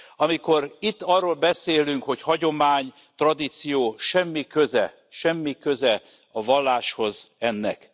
Amikor itt arról beszélünk, hogy hagyomány, tradíció, semmi köze a valláshoz ennek.